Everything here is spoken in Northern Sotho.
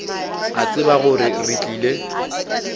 a tseba gore re tlile